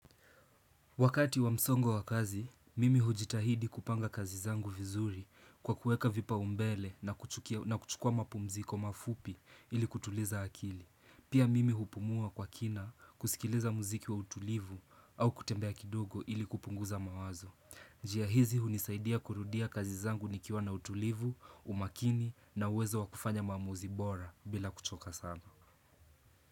Wakati wa msongo wa kazi, mimi hujitahidi kupanga kazi zangu vizuri kwa kueka vipaumbele na kuchukua mapumziko mafupi ili kutuliza akili. Pia mimi hupumua kwa kina kusikiliza muziki wa utulivu au kutembea kidogo ili kupunguza mawazo. Njia hizi hunisaidia kurudia kazi zangu nikiwa na utulivu, umakini na uwezo wa kufanya maamuzi bora bila kuchoka sana.